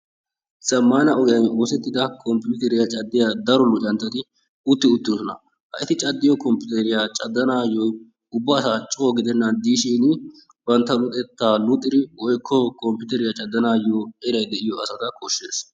zammaana ogiyaan oosettida computeriyaa caddiyaa daro luxanchchati utti uttidosona eti caddiyoo computeriyaa caddanaayoo ubasaa coo gidennan diishin bantta luxetta luxxidi woykko computeriyaa caddanaayoo eray de'iyoo asata koshshes.